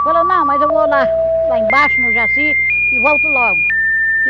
Falou, não, mas eu vou lá lá embaixo no Jaci e volto logo.